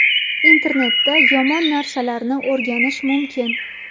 Internetda yomon narsalarni o‘rganish mumkin.